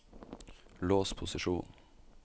lås posisjonen